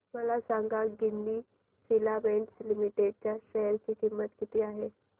मला सांगा Ginni filaments limited च्या शेअर ची किंमत किती आहे